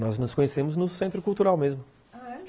Nós nos conhecemos no Centro Cultural mesmo, ah, é?